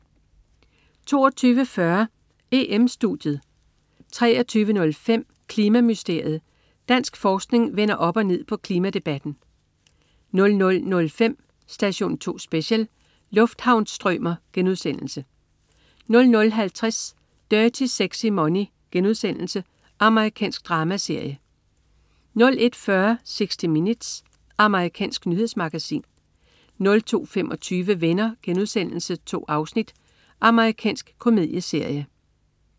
22.40 EM-Studiet 23.05 Klima-mysteriet. Dansk forskning vender op og ned på klimadebatten 00.05 Station 2 Special: Lufthavnsstrømer* 00.50 Dirty Sexy Money.* Amerikansk dramaserie 01.40 60 Minutes. Amerikansk nyhedsmagasin 02.25 Venner.* 2 afsnit. Amerikansk komedieserie